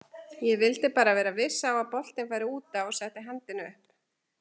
Ég vildi bara vera viss á að boltinn færi útaf og setti hendina upp.